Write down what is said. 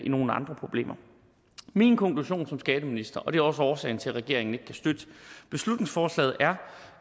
nogle andre problemer min konklusion som skatteminister og det er også årsagen til at regeringen ikke kan støtte beslutningsforslaget er